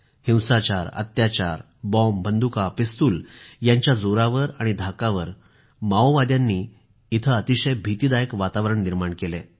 हिंसाचार अत्याचार बॉम्ब बंदुका पिस्तूल यांच्या जोरावर आणि धाकावर माओवाद्यांनी इथं अतिशय भीतिदायक वातावरण निर्माण केलं आहे